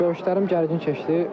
Görüşlərim gərgin keçdi.